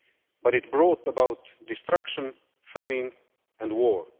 But it brought about destruction, famine and war.